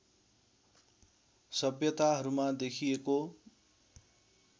सभ्यताहरूमा देखिएको